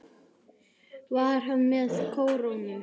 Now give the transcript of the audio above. Var hann með kórónu?